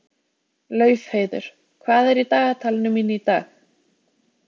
Laufheiður, hvað er í dagatalinu mínu í dag?